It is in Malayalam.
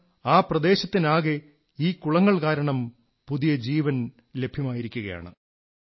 ഇന്ന് ആ പ്രദേശത്തിനാകെ ഈ കുളങ്ങൾ കാരണം പുതിയ ജീവൻ ലഭ്യമായിരിക്കയാണ്